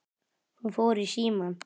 Hún fór í símann.